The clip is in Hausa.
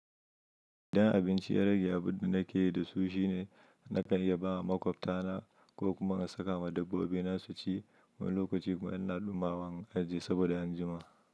Idan abinci ya rage abunda nake yi da su shine na kan iya bawa makwabta na ko kuma na saka ma dabbobi na su ci wani lokaci kuma ina ɗumama in ajiye saboda an jima.